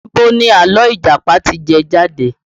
Ibo ni àlọ́ Ìjàpá ti jẹ jáde?